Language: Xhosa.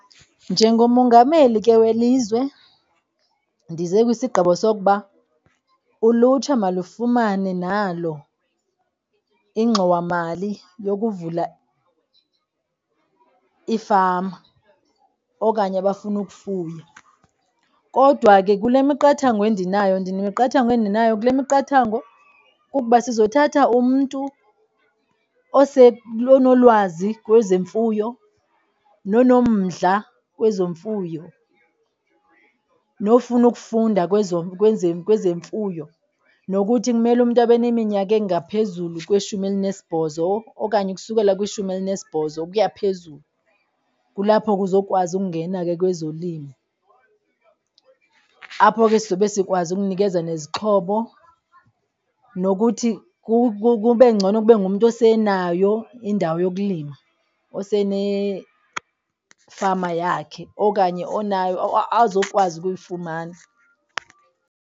Njengomongameli ke welizwe ndize kwisigqibo sokuba ulutsha balufumane nalo ingxowamali yokuvula iifama okanye abafuna ukufuya. Kodwa ke kule miqathango endinayo ndinemiqathango endinayo. Kule miqathango kukuba sizawuthatha umntu onolwazi kwezemfuyo nonomdla kwezemfuyo, nofuna ukufunda kweze kwezemfuyo. Nokuthi kumele umntu abe neminyaka engaphezulu kweshumi elinesibhozo okanye ukusukela kwishumi elinesibhozo ukuya phezulu. Kulapho kuzokwazi ukungena ke kwezolimo, apho ke sizobe sikwazi ukunikeza nezixhobo nokuthi kube ngcono. Kube ngumntu osenazayo indawo yokulima fama yakhe okanye azokwazi ukuyifumana.